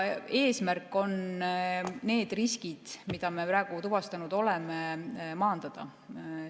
Eesmärk on need riskid, mida me praegu tuvastanud oleme, maandada.